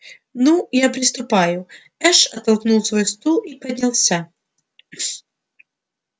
ну я приступаю эш оттолкнул свой стул и поднялся